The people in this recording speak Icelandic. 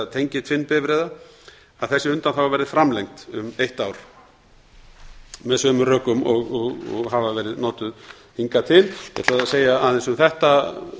tengiltvinnbifreiða verði framlengd um eitt ár með sömu rökum og hafa verið notuð hingað til ég ætlaði að segja aðeins um þetta